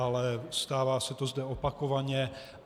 Ale stává se to zde opakovaně.